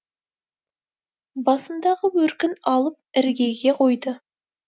басындағы бөркін алып іргеге қойды